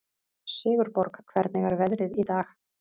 Sigurborg, hvernig er veðrið í dag?